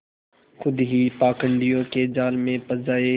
खुद ही पाखंडियों के जाल में फँस जाए